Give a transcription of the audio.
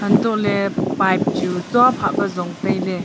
hantohley pipe chu chuaphat jon tailey.